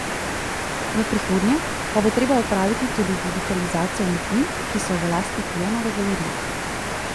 V prihodnje pa bo treba opraviti tudi digitalizacijo umetnin, ki so v lasti Pilonove galerije.